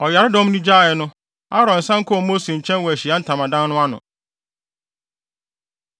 Ɔyaredɔm no gyaee no, Aaron san kɔɔ Mose nkyɛn wɔ Ahyiae Ntamadan no ano.